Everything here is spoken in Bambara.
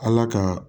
Ala ka